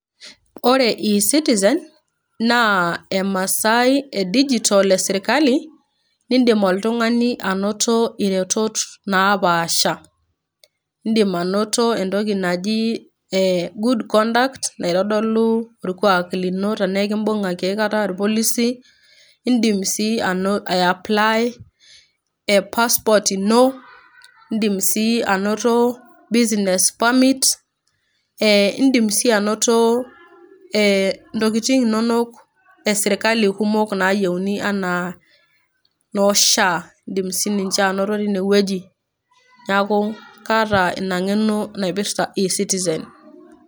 Ore ecitizen naa emaasai e digitol e sirkali ,nindimoltungani anoto iretot naaapaasha .Indim anoto entoki naji e good conduct naitodolu orkwaak lino tenaa enkimbungakiaikata irpolisi. Indim sii aiaplay e passport ino, idim sii anoto business permit ,indim sii anoto intokitin inonok e sirkali anoto ntokitin kumok nayieuni anaa noo shaa ,indim sininye anoto tine wueji. Niaku kaata ina ngeno naipirta ecitizen.